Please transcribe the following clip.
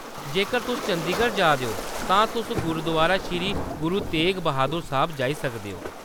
जेकर तुस चंदीगढ़ जा दे ओ, तां तुस गुरुदुआरा श्री गुरु तेग ब्हादर साहिब जाई सकदे ओ।